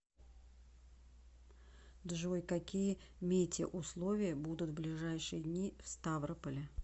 джой какие метеоусловия будут в ближайшие дни в ставрополе